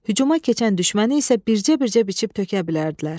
Hücuma keçən düşməni isə bircə-bircə biçib tökə bilərdilər.